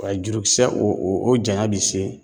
W'a jurukisɛ o o o janya bi se